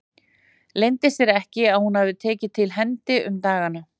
Leyndi sér ekki að hún hafði tekið til hendi um dagana.